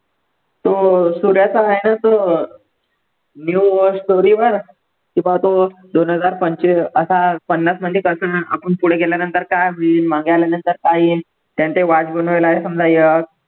तो अं सूर्याचा आहे ना तो new war story वर कुठला तो दोन हजार पंचवी असा पन्नासमधी आपण पुढे गेल्यानंतर काय होईल मागे आल्यानंतर काय येईल, त्याने ते बनवलयं समजा